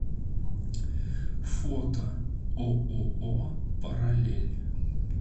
фото ооо параллель